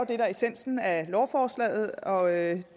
essensen af lovforslaget og jeg